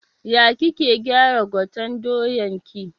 Ya kike gyara gwaten doyan ki?